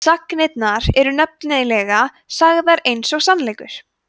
sagnirnar eru nefnilega sagðar eins og sannleikur